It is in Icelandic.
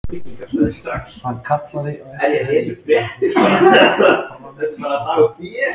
Hann kallaði á eftir henni þegar hún steðjaði fram á ganginn.